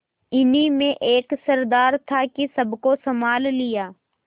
इन्हीं में एक सरदार था कि सबको सँभाल लिया